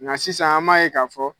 Nka sisan an b'a ye k'a fɔ